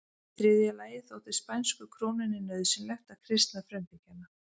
Í þriðja lagi þótti spænsku krúnunni nauðsynlegt að kristna frumbyggjana.